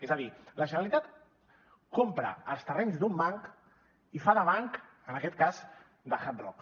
és a dir la generalitat compra els terrenys d’un banc i fa de banc en aquest cas de hard rock